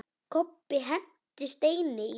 Kobbi henti steini í dyrnar.